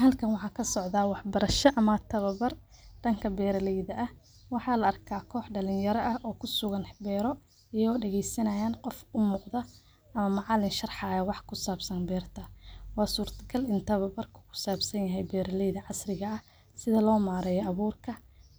Halkan waxaa kasocdaa wax barasha ama tawabar dhanka beeraleyda ah waxa la arkaa kox dhalin yaro ah oo kusugan beero ayago dhageesanaya qof umuuqdo ama macalin sharaxayo wax kusabsan beerta, waa surta gal inu warka kusabsan yahay beeraleyda casriga ah sida loo mareeyo abuurka,